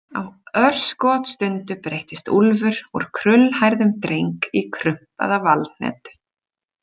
Á örskotsstundu breyttist Úlfur úr krullhærðum dreng í krumpaða valhnetu.